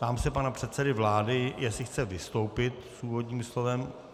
Ptám se pana předsedy vlády, jestli chce vystoupit s úvodním slovem.